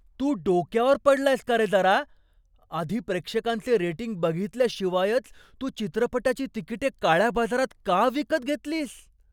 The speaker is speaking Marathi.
तू डोक्यावर पडलायस का रे जरा? आधी प्रेक्षकांचे रेटिंग बघितल्याशिवायच तू चित्रपटाची तिकिटे काळ्या बाजारात का विकत घेतलीस?